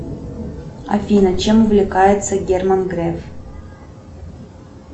афина чем увлекается герман греф